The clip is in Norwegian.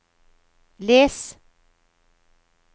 les